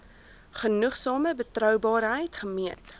genoegsame betroubaarheid gemeet